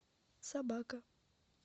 собака